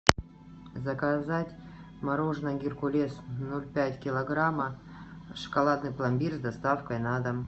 заказать мороженое геркулес ноль пять килограмма шоколадный пломбир с доставкой на дом